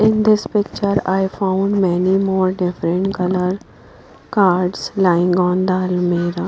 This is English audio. In this picture I found many more different color cards lying on the almirah.